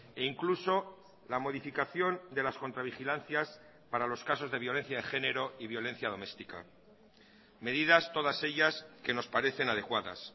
e incluso la modificación de las contravigilancias para los casos de violencia de género y violencia doméstica medidas todas ellas que nos parecen adecuadas